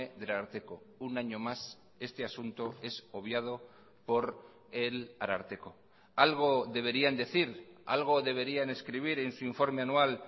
del ararteko un año más este asunto es obviado por el ararteko algo deberían decir algo deberían escribir en su informe anual